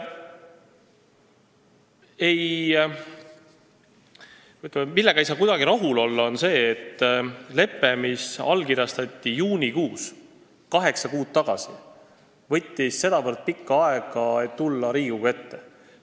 Kuidagi ei saa rahul olla sellega, et leppel, mis allkirjastati juunikuus, kaheksa kuud tagasi, võttis sedavõrd pikka aega, et jõuda Riigikogu ette.